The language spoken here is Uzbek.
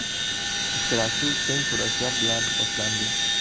Uchrashuv teng kurashlar bilan boshlandi.